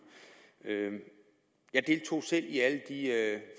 jeg deltog selv i alle